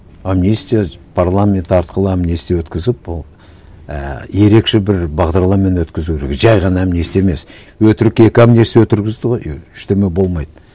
амнистия парламент арқылы амнистия өткізіп ол ііі ерекше бір бағдарлармен өткізу керек жай ғана амнистия емес өтірік екі амнистия ғой ештеңе болмайды